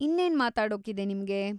ಇನ್ನೇನ್‌ ಮಾತಾಡೋಕಿದೆ ನಿಮ್ಗೆ?